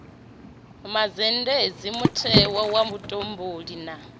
mazhendedzi mutheo wa vhutumbuli ha